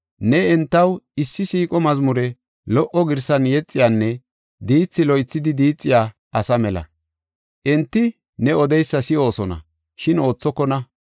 Ne entaw issi siiqo mazmure lo77o girsan yexiyanne diithi loythidi diixiya asa mela. Enti ne odeysa si7oosona; shin oothokona.